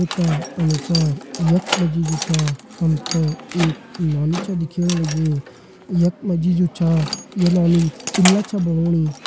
इका अनुसार यक मजी जो छ हमते एक नौनी छ दिखेण लगीं। यक मजी जु छा ये नौनी पिल्ला छ बणोंनी।